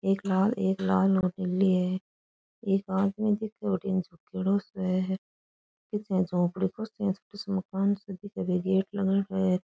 एक लाल एक लाल और नीली है एक आदमी दिखे बठीने झुकयोडो सो है पीछे एक झोपडी को छोटो सो मकान सो दिखे बीके गेट लगायोडो है।